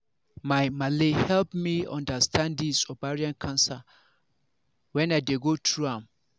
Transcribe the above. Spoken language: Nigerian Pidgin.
my malle help me understand this ovarian cancer when i dey go through am